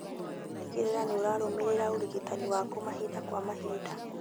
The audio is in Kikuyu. Tigĩrĩra nĩũrarũmĩrĩra ũrigitani waku mahinda kwa mahinda